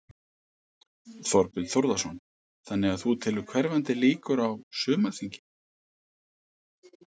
Þorbjörn Þórðarson: Þannig að þú telur hverfandi líkur á, á sumarþingi?